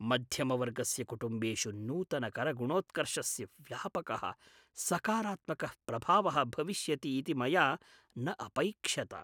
मध्यमवर्गस्य कुटुम्बेषु नूतन कर गुणोत्कर्षस्य व्यापकः सकारात्मकः प्रभावः भविष्यति इति मया न अपैक्ष्यत।